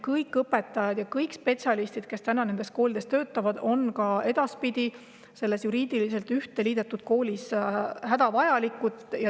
Kõik õpetajad ja spetsialistid, kes täna nendes koolides töötavad, on ka edaspidi selles juriidiliselt üheks liidetud koolis hädavajalikud.